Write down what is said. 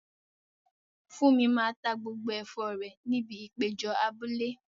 Funmi máa ta gbogbo ẹ̀fọ́ rẹ̀ ní ibi ìpéjọ abúlé.